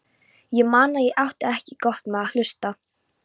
Ég man að ég átti ekki gott með að hlusta.